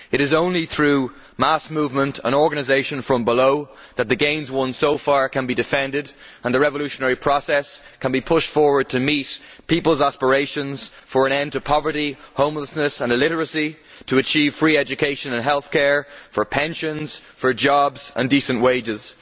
It is only through mass movement and organisation from below that the gains won so far can be defended and the revolutionary process can be pushed forward to meet people's aspirations for an end to poverty, homelessness and illiteracy, to achieve free education and healthcare, for pensions, for jobs and decent wages.